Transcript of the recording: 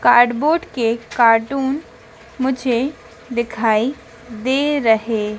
cardboard के carton मुझे दिखाई दे रहे--